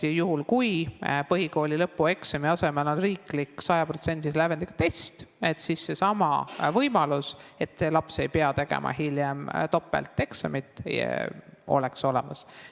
Juhul kui põhikooli lõpueksami asemel on riiklik 100%-lise lävendiga test, siis seesama võimalus, et laps ei pea hiljem tegema topelteksamit, oleks olemas.